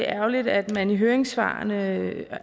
ærgerligt at man i høringssvarene